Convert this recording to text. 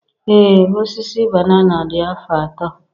Ee Osisi banana dị afọ atọ.